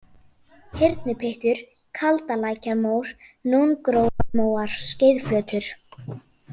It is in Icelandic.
Hyrnupyttur, Kaldalækjarmór, Nóngrófarmóar, Skeiðflötur